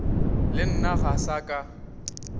le nna ga sa ka